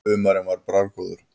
Humarinn var bragðgóður.